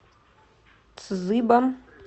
цзыбо